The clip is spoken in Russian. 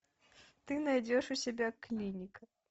ты найдешь у себя клиника